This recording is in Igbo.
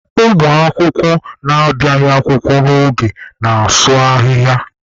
Ụmụ akwụkwọ na-abịaghị akwụkwọ n'oge na-asụ ahịhịa.